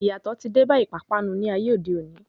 Iyatọ ti dé bá ìpápánu ní ayé òde òni.